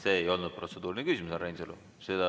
See ei olnud protseduuriline küsimus, härra Reinsalu.